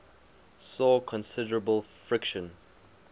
saw considerable friction